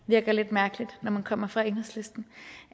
virker lidt mærkeligt når man kommer fra enhedslisten